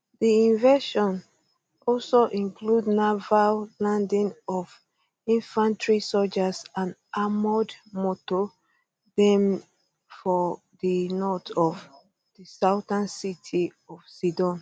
di invasion also include naval um landing of infantry sojas and armoured moto dem for di north of di southern city um of sidon